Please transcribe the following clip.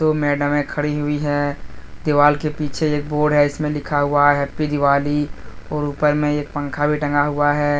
दो मैडमे खड़ी हुई है दीवाल के पीछे एक बोर्ड है जिसमें लिखा हुआ है हैप्पी दिवाली और ऊपर में एक पंखा लगा हुआ है ।